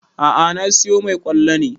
A'a na siyo mai ƙwallo ne